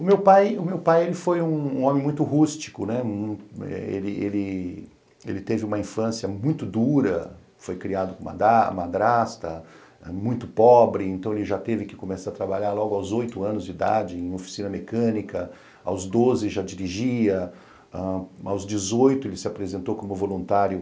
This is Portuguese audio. O meu pai o meu pai foi um homem muito rústico, né, ele ele teve uma infância muito dura, foi criado com madrasta, muito pobre, então ele já teve que começar a trabalhar logo aos oito anos de idade em oficina mecânica, aos doze já dirigia, aos dezoito ele se apresentou como voluntário